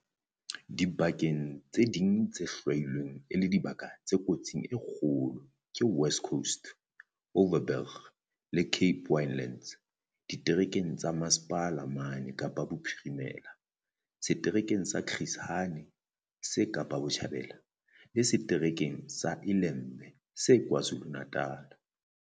Dibaka tse ding tse hlwailweng e le dibaka tse kotsing e kgolo ke West Coast, Overberg le Cape Winelands ditereke tsa Mmasepala mane Kapa Bophirimela, setereke sa Chris Hani se Kapa Botjhabela, le se-tereke sa iLembe se KwaZulu-Natala.